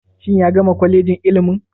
Shin ya gama kwalejin ilimin.